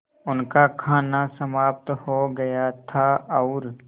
उनका खाना समाप्त हो गया था और